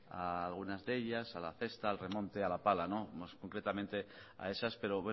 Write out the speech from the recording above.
a algunas de ellas a la cesta al remonte a la pala más concretamente a esas pero